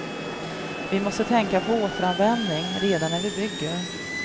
Vi måste tänka på återanvändning redan när vi bygger.